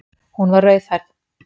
Hún var rauðhærð!